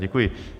Děkuji.